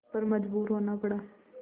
पर मजबूर होना पड़ा